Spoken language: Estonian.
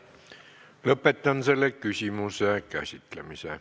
Lõpetan selle küsimuse käsitlemise.